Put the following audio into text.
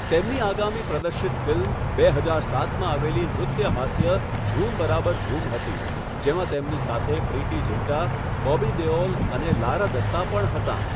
તેમની આગામી પ્રદર્શિત ફિલ્મ બે હજાર સાતમાં આવેલી નૃત્ય હાસ્ય 'ઝૂમ બરાબર ઝૂમ' હતી, જેમાં તેમની સાથે પ્રીતિ ઝિન્ટા, બોબી દેઓલ અને લારા દત્તા પણ હતાં.